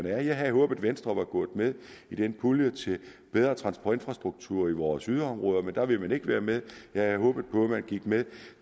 er jeg havde håbet at venstre var gået med i den pulje til bedre transportinfrastruktur i vores yderområder men der ville man ikke være med jeg havde håbet på at man gik med